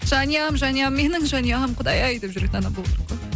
жанұям жанұям менің жанұям құдай ай деп жүретін адам болу керек қой